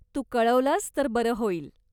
तू कळवलंस तर बरं होईल.